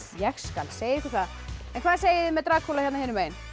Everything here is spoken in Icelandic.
ég skal segja ykkur það hvað segið þið með Drakúla hérna hinum megin